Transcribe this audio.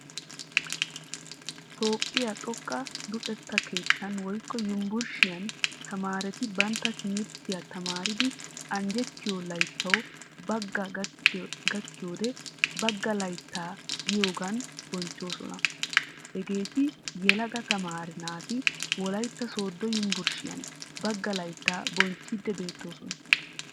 Toophphiyaa xooqa luxetta keettan woykko yunvurshshiyaan tamaretti bantta timirttiyaa tamaridi anjjettiyo layttaawu bagga gakiiyode "bagga laytta" giyogan bochchoosona. Hageetti yeelaga tamaree naati wolaytta sodo yunvurshshiyan bagga laytta bochchidi beetosona.